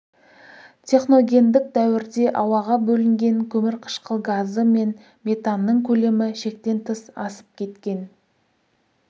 техногендік дәуірде ауаға бөлінген көмірқышқыл газы мен метанның көлемі шектен тыс асып кеткен